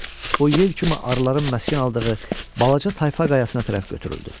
Bu, yel kimi arıların məskən aldığı balaca tayfa qayasına tərəf götürüldü.